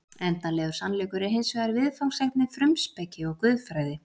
Endanlegur sannleikur er hins vegar viðfangsefni frumspeki og guðfræði.